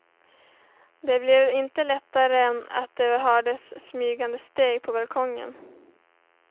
Det blev inte lättare av att det hördes smygande steg på balkongen.